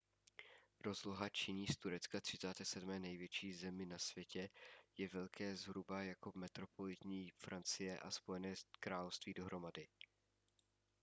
rozloha činí z turecka 37. největší zemi na světě je velké zhruba jako metropolitní francie a spojené království dohromady